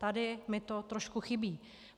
Tady mi to trošku chybí.